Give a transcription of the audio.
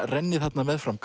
renni þarna meðfram